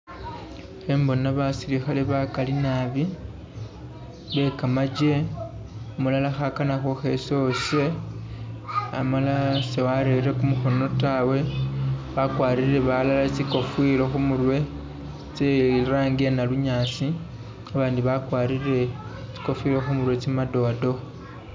Ikhembona basilikhale bagali naabi be gamaje umulala khagana khuchesa uwashe umulala si warerere gumukhono taawe wagwarile balala tsikofila kumurwe tse'langi ya nalunyaasi abandi bagwarile tsikofila khumurwe tse madowadowa.